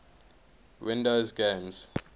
windows games